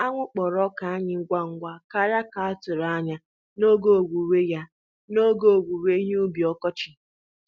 Anwụ kpọrọ ọka anyị ngwa ngwa karịa ka a tụrụ anya ya n'oge owuwe ya n'oge owuwe ihe ubi ọkọchị